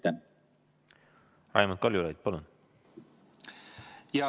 Raimond Kaljulaid, palun!